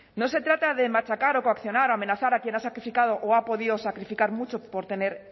no se trata de machacar o coaccionar o amenazar a quien ha sacrificado o ha podido sacrificar mucho por tener